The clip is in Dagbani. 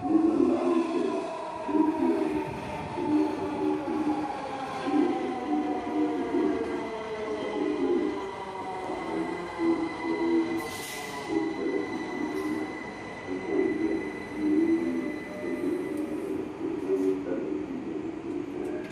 Niraba n laɣam ʒiya bi ni ʒiya maa bi ŋmɛrila binkumda lunsi bɛ dinni ka daligi biɛni ka paɣa so so chinchini o nyoɣu ka zaŋ yɛri n niŋ o nuuni ka shɛli bɛ o nyingoli ni ka o zaŋ tani n bob o zuɣu